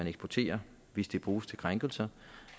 eksportere hvis det bruges til krænkelser